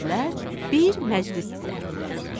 bir məclis düzəltdilər.